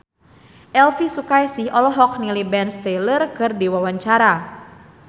Elvy Sukaesih olohok ningali Ben Stiller keur diwawancara